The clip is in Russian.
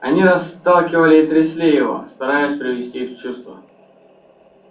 они расталкивали и трясли его стараясь привести в чувство